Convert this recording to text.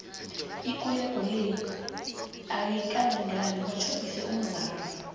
ikulego le ayikalingani batjhodise umzala